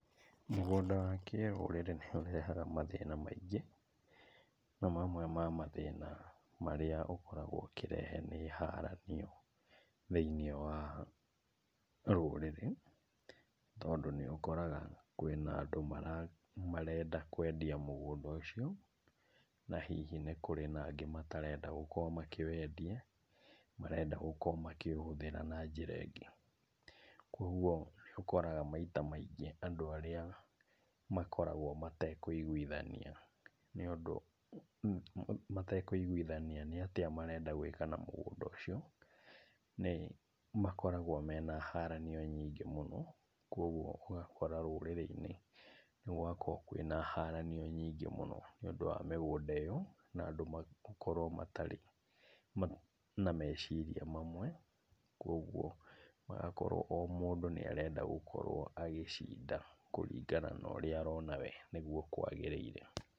Mũgũnda wa kĩrũrĩrĩ nĩũrehaga mathĩna maingĩ, na mamwe ma mathĩna marĩa ũkoragwo ũkĩrehe nĩ haranio thĩiniĩ wa rũrĩrĩ, tondũ nĩũkoraga kwĩna andũ marenda kwendia mũgũnda ũcio, na hihi nĩ kũrĩ na angĩ matarenda gũkorwo makĩwendia, marenda gũkorwo makĩũhũthĩra na njĩra ĩngĩ. Kuoguo nĩũkoraga maita maingĩ andũ arĩa makoragwo matekũiguithania nĩũndũ matekũigwithania nĩatĩa marenda gwĩka na mũgũnda ũcio, nĩmakoragwo mena haranio nyingĩ mũno. Kuoguo ũgakora rũrĩrĩ-inĩ nĩgũgakorwo kwĩna haranio nyingĩ mũno nĩũndũ wa mĩgũnda ĩyo, na andũ gũkorwo matarĩ na meciria mamwe, kuoguo magakorwo o mũndũ nĩarenda gũkorwo agĩcinda kũringana na ũrĩa arona we nĩguo kwagĩrĩire.